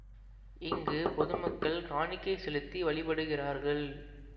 இங்கு பொதுமக்கள் காணிக்கைச் செலுத்தி வழிபடுகிறார்கள்